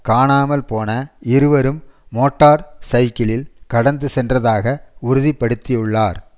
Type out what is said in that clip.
காணாமல் போன இருவரும் மோட்டார் சயிக்கிளில் கடந்து சென்றதாக உறுதி படுத்தியுள்ளார்